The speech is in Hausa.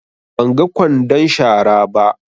Ban ga ƙwandon shara ba.